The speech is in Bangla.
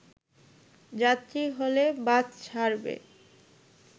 যাত্রী হলে বাস ছাড়বে